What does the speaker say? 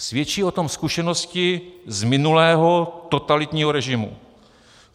Svědčí o tom zkušenosti z minulého, totalitního režimu.